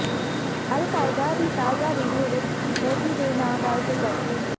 ਅਲ Qaeda ਦੀ ਤਾਜ਼ਾ video ਵਿੱਚ ਮੋਦੀ ਦੇ ਨਾਂ ਦਾ ਜ਼ਿਕਰ